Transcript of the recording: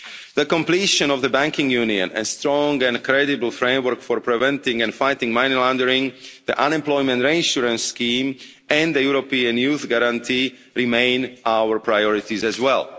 The completion of the Banking Union, a strong and credible framework for preventing and fighting money laundering, the Unemployment Reinsurance Scheme and the European Youth Guarantee remain our priorities as